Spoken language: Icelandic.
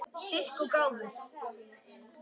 Styrk og gáfur.